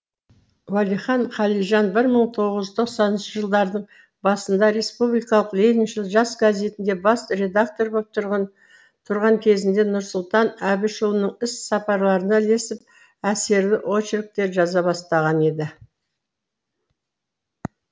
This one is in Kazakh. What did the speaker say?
уәлихан қалижан бір мың тоғыз жүз тоқсаныншы жылдардың басында республикалық лениншіл жас газетінде бас редактор боп тұрған кезінде нұрсұлтан әбішұлының іс сапарларына ілесіп әсерлі очерктер жаза бастаған еді